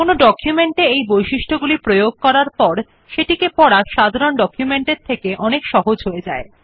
কোনো ডকুমেন্ট এ এই বৈশিষ্ট গুলি প্রয়োগ করার পর সেটিকে পড়া সাধারণ ডকুমেন্ট এর থেকে অনেক সহজ হয়ে যায়